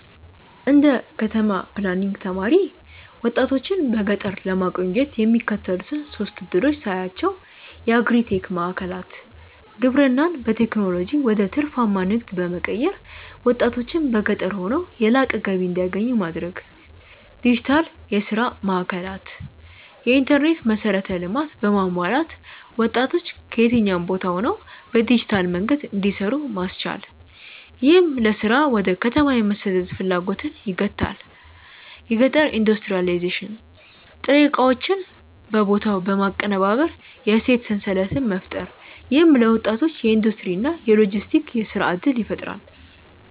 እንደ ከተማ ፕላኒንግ ተማሪ፣ ወጣቶችን በገጠር ለማቆየት የሚከተሉትን ሶስት ዕድሎች ሳያቸው የአግሪ-ቴክ ማዕከላት: ግብርናን በቴክኖሎጂ ወደ ትርፋማ ንግድ በመቀየር፣ ወጣቶች በገጠር ሆነው የላቀ ገቢ እንዲያገኙ ማድረግ። ዲጂታል የሥራ ማዕከላት: የኢንተርኔት መሠረተ ልማት በማሟላት ወጣቶች ከየትኛውም ቦታ ሆነው በዲጂታል መንገድ እንዲሰሩ ማስቻል፣ ይህም ለሥራ ወደ ከተማ የመሰደድ ፍላጎትን ይገታል። የገጠር ኢንዱስትሪያላይዜሽን: ጥሬ ዕቃዎችን በቦታው በማቀነባበር የእሴት ሰንሰለት መፍጠር። ይህም ለወጣቶች የኢንዱስትሪ እና የሎጂስቲክስ የሥራ ዕድል ይፈጥራል።